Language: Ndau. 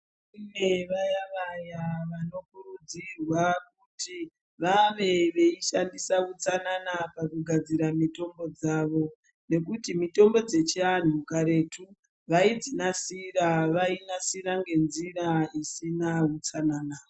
Kune vaya vaya vanokurudzirwa kuti vave veishandisa utsanana pakugadzira mitombo dzavo nekuti mitombo dzechiantu karetu vaidzinasira vainasira ngenzira isana hutsanana.